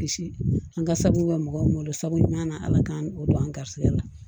Bilisi an ka sabu bɛ mɔgɔw sabu ɲana ala k'an o don an ga garibuya la